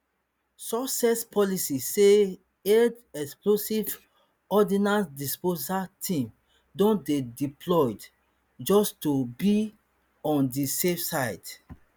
sussex police say eod explosive ordnance disposal team don dey deployed just to be on di safe side